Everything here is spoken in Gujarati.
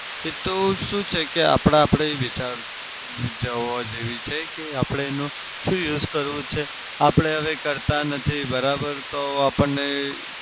એતો શું છે કે આપડા આપડી વિચાર જેવી છે કે આપડે એનો શું use કરવો છે. આપડે હવે કરતા નથી બરાબર તો આપણને